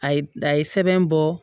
A ye a ye sɛbɛn bɔ